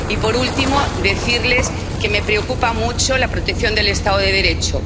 Y por último, decirles que me preocupa mucho la protección del Estado de Derecho.